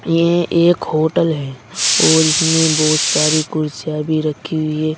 ये एक होटल है और इसमें बहुत सारी कुर्सियां भी रखी हुई है।